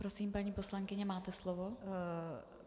Prosím, paní poslankyně, máte slovo.